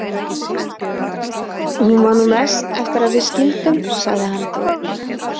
Hún var nú mest eftir að við skildum, sagði hann.